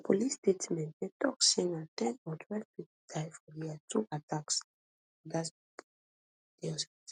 for police statement dem tok say na ten and twelve pipo die for di two attacks and five odas bin dey hospital